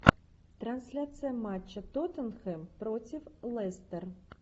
трансляция матча тоттенхэм против лестер